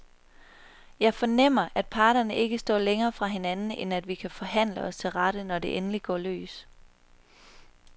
Jeg fornemmer, at parterne ikke står længere fra hinanden, end at vi kan forhandle os til rette, når det endelig går løs.